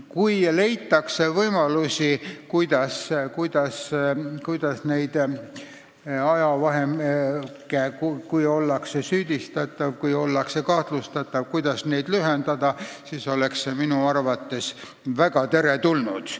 Kui leitakse võimalus, kuidas lühendada ajavahemikku, kui keegi on süüdistatav või kahtlustatav, siis oleks see minu arvates väga teretulnud.